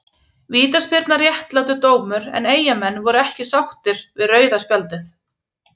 Vítaspyrnan réttlátur dómur en eyjamenn voru ekki sáttir við rauða spjaldið.